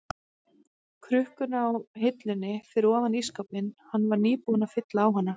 krukkuna á hillunni fyrir ofan ísskápinn, hann var nýbúinn að fylla á hana.